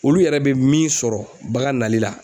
Olu yɛrɛ be min sɔrɔ bagan nali la